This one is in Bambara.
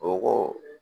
O ko